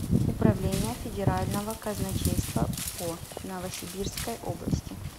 управление федерального казначейства по новосибирской области